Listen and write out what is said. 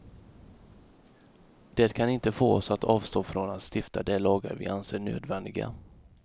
Det kan inte få oss att avstå från att stifta de lagar vi anser nödvändiga.